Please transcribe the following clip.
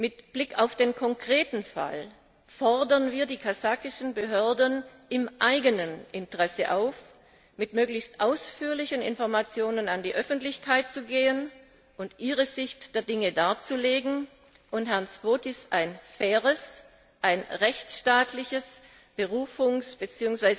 Mit Blick auf den konkreten Fall fordern wir die kasachischen Behörden im eigenen Interesse auf, mit möglichst ausführlichen Informationen an die Öffentlichkeit zu gehen und ihre Sicht der Dinge darzulegen und Herrn Zhovtis ein faires, rechtsstaatliches Berufungs bzw.